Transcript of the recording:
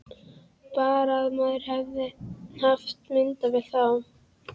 Bara að maður hefði haft myndavél þá!